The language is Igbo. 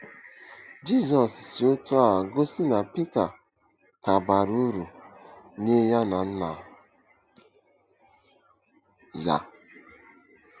Jizọs si otú a gosi na Pita ka bara uru nye ya na Nna ya.